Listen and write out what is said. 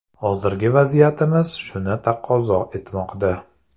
Hozirgi vaziyatimiz shuni taqozo etmoqda.